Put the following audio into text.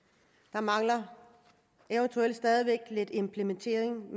der mangler stadig væk lidt implementering